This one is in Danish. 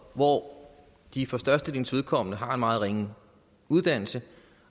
hvor de for størstedelens vedkommende har en meget ringe uddannelse